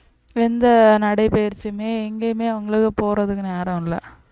எந்த நடைபயிற்சியுமே எங்கேயுமே அவங்களுக்கு போறதுக்கு நேரம் இல்லை